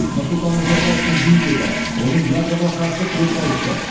нұрсұлтан назарбаевтың еңбегі оның ядроға қарсы қозғалысы